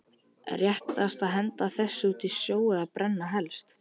Réttast að henda þessu út í sjó eða brenna helst.